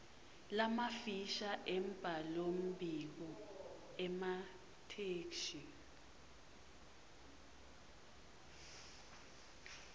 lamafisha embhalombiko emathektshi